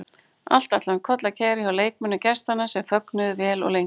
Allt ætlaði um koll að keyra hjá leikmönnum gestanna sem fögnuðu vel og lengi.